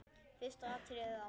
Fyrsta atriðið á.